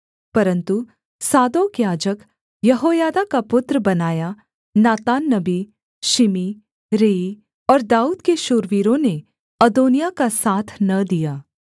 परन्तु सादोक याजक यहोयादा का पुत्र बनायाह नातान नबी शिमी रेई और दाऊद के शूरवीरों ने अदोनिय्याह का साथ न दिया